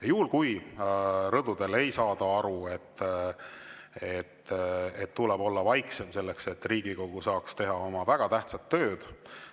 Ja juhul, kui rõdudel ei saada aru, et tuleb olla vaiksem, selleks et Riigikogu saaks teha oma väga tähtsat tööd,